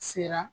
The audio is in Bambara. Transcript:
Sera